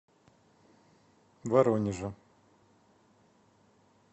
воронежа